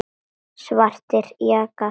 Svartir jakkar.